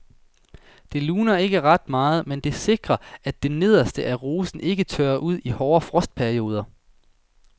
Det luner ikke ret meget, men det sikrer at det nederste af rosen ikke tørrer ud i hårde frostperioder.